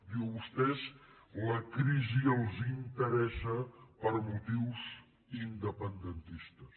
diu a vostès la crisi els in·teressa per motius independentistes